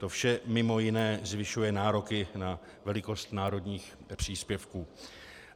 To vše mimo jiné zvyšuje nároky na velikost národních příspěvků.